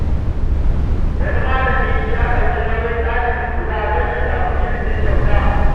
Wani malami ya ɗauki nauyin ɗalibi guda don ya samu ilimi kyauta.